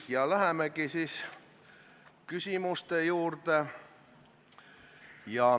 Ja lähemegi küsimuste juurde.